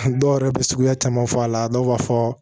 Dɔw yɛrɛ bɛ suguya caman fɔ a la dɔw b'a fɔ